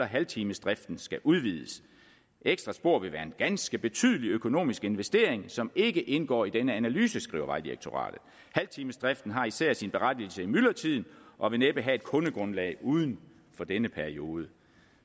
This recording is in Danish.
halvtimesdriften skal udvides ekstra spor vil være en ganske betydelig økonomisk investering som ikke indgår i denne analyse skriver vejdirektoratet halvtimesdriften har især sin berettigelse i myldretiden og vil næppe have et kundegrundlag uden for denne periode